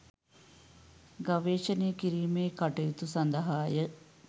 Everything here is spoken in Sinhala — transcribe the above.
ගවේෂණය කිරීමේ කටයුතු සඳහාය